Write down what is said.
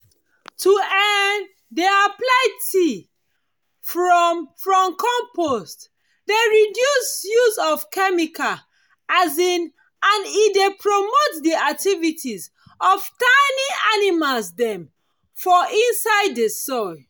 to um dey apply tea from from compost dey reduce use of chemical um and e dey promote the activities of tiny animals dem for inside the soil